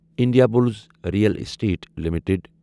Indiabulls real estate limited